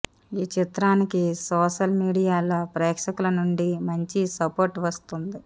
ఈ చిత్రానికి సోషల్ మీడియాలో ప్రేక్షకుల నుండి మంచి సపోర్ట్ వస్తోంది